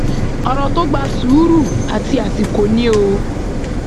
ọrọ tó gba sùúrù àti àsìkò ni o